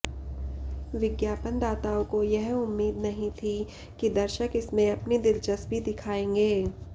विज्ञापनदाताओं को यह उम्मीद नहीं थी कि दर्शक इसमें अपनी दिलचस्पी दिखाएंगे